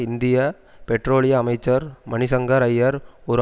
இந்திய பெட்ரோலிய அமைச்சர் மணிசங்கர ஐயர் ஒரு